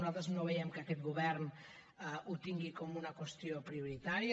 nosaltres no veiem que aquest govern ho tingui com una qüestió prioritària